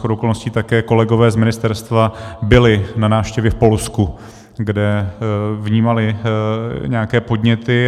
Shodou okolností také kolegové z ministerstva byli na návštěvě v Polsku, kde vnímali nějaké podněty.